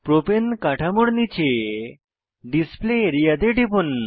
প্রপাণে কাঠামোর নীচে display area তে টিপুন